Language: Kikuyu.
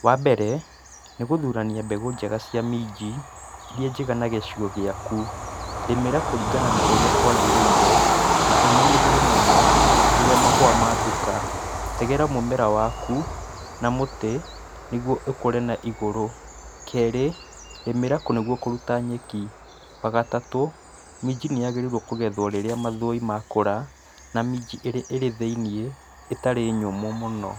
Wambere, nĩgũthurania mbegũ njega cia minji, iria njega na gĩcigo gĩaku. Rĩmĩra kũringana na ũrĩa kũagĩrĩire na ũmenyerere mũno, rĩrĩa mahũa ma thuka. Tegera mũmera waku, ma mũtĩ, nĩguo ũkũre na igũrũ. Kerĩ, rĩmĩra nĩguo kũruta nyeki. Wagatatũ, minji nĩyagĩrĩirũo kũgethũo rĩrĩa mathũi makũra, na minji ĩrĩa ĩrĩ thĩiniĩ ĩtarĩ nyũmũ mũno.